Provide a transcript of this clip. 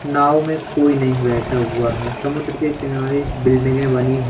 नाव में कोई नहीं बैठा हुआ है समुद्र के किनारे बिल्डिंगे बनी--